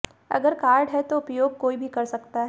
अगर कार्ड है तो उपयोग कोई भी कर सकता है